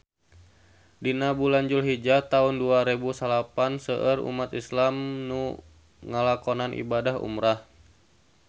Dina bulan Julhijah taun dua rebu salapan seueur umat islam nu ngalakonan ibadah umrah